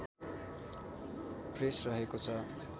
press रहेको छ